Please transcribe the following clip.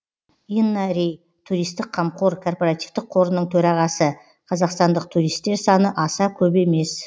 инна рей туристік қамқор корпоративтік қорының төрағасы қазақстандық туристер саны аса көп емес